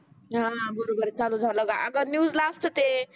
हा बरोबर आहे चालू झाला अग न्यूजला असते.